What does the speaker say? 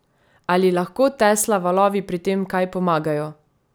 Ali lahko Tesla valovi pri tem kaj pomagajo?